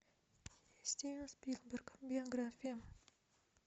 стивен спилберг биография